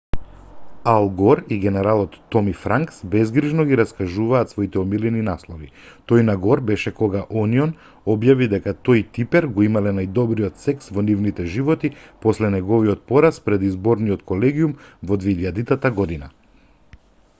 ал гор и генералот томи франкс безгрижно ги раскажуваат своите омилени наслови тој на гор беше кога онион објави дека тој и типер го имале најдобриот секс во нивните животи после неговиот пораз пред изборниот колегиум во 2000 година